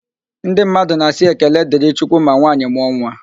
Ndị mmadụ na asị "ekele dịrị chukwu" ma nwanyị mụọ nwa